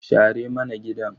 Share mana gidan.